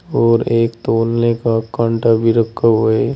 और एक तोलने का कांटा भी रखा हुआ है।